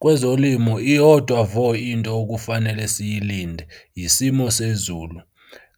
Kwezolimo iyodwa vo into okufanele siyilinde, yisimo sezulu.